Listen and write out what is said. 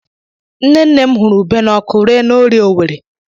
Nne nne m hụrụ ube n'ọkụ ree na Orie Owerri.